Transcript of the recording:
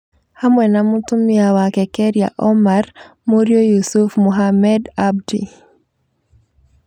hamwe na mũtumia wake Kheria Omar, mũriũ Yusuf Mohammed Abdi ,